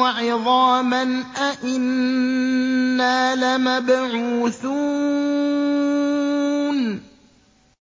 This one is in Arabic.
وَعِظَامًا أَإِنَّا لَمَبْعُوثُونَ